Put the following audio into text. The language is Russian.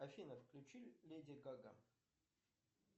афина включи леди гага